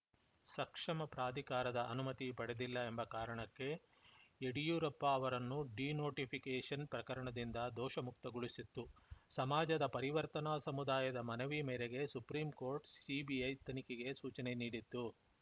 ಸಕ್ಷಮ ಪ್ರಾಧಿಕಾರದ ಅನುಮತಿ ಪಡೆದಿಲ್ಲ ಎಂಬ ಕಾರಣಕ್ಕೆ ಯಡಿಯೂರಪ್ಪ ಅವರನ್ನು ಡಿನೋಟೀಫಿಕೇಷನ್‌ ಪ್ರಕರಣದಿಂದ ದೋಷ ಮುಕ್ತಗೊಳಿಸಿತ್ತು ಸಮಾಜದ ಪರಿವರ್ತನಾ ಸಮುದಾಯದ ಮನವಿ ಮೇರೆಗೆ ಸುಪ್ರೀಂಕೋರ್ಟ್‌ ಸಿಬಿಐ ತನಿಖೆಗೆ ಸೂಚನೆ ನೀಡಿತ್ತು